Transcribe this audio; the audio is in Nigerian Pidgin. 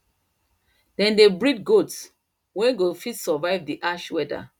them dey breed goats wen go fit survive the harsh weather